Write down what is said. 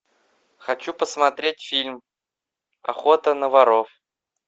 хочу посмотреть фильм охота на воров